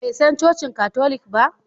Bai san cocin katolik ba?